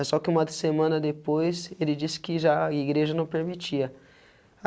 É só que uma semana depois ele disse que já a igreja não permitia.